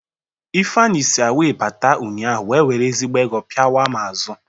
Ifeanyị si awe bata ụnyahụ wee were ezigbo ego pịawaa m azụ.